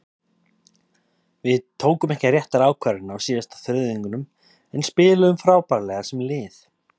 Við tókum ekki réttar ákvarðanir á síðasta þriðjungnum en spiluðum frábærlega sem lið.